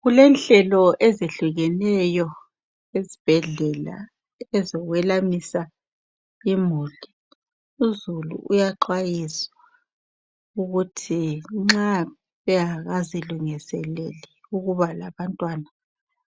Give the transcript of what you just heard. Kulenhlelo ezehlukeneyo esibhedlela ezokwelamisa imuli. Uzulu uyaxwayiswa ukuthi nxa engakangazilungiseleli ukuba labantwana